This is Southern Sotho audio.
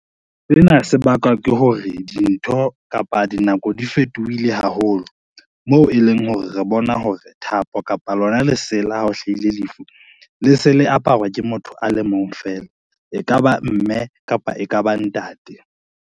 Sena se bakwa ke hore dintho kapa dinako di fetohile haholo, moo e leng hore re bona hore thapo kapa lona lesela hao hlahile lefu, le se le aparwa ke motho a le mong fela e ka ba mme kapa e ka ba ntate.